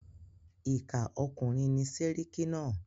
Ìkà ọkùnrin ni séríkí náà.